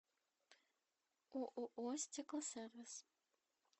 ооо стеклосервис